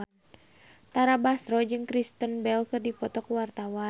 Tara Basro jeung Kristen Bell keur dipoto ku wartawan